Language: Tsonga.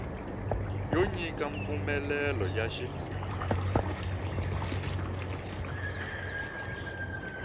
yo nyika mpfumelelo ya xifundza